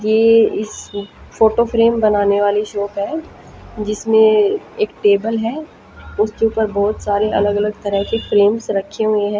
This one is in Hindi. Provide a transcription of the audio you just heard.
कि इस फोटो फ्रेम बनाने वाली शॉप है जिसमें एक टेबल है उसके ऊपर बहुत सारे अलग अलग तरह के फ्रेम्स रखे हुए हैं।